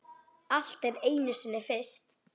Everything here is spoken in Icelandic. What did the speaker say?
Allt er einu sinni fyrst.